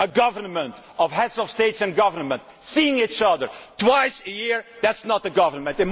A government of Heads of State and Government seeing each other twice a year is not a government.